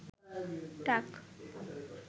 টাক